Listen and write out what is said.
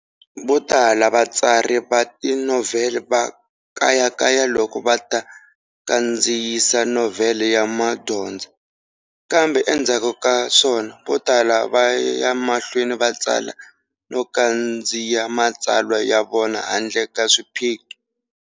Votala vatsari va tinovhele va kayakaya loko va ta kandziyisa novhele ya madyondza, kambe endzhaku ka swona votala va ya mahlweni va tsala no kandziyisa matsalwa ya vona handle ka swiphiqo.